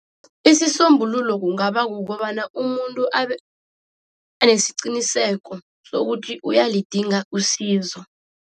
Isisombululo kungaba kukobana umuntu abenesiqiniseko sokuthi uyalidinga usizo.